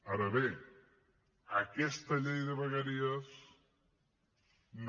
ara bé aquesta llei de vegueries no